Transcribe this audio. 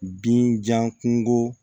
Binjakun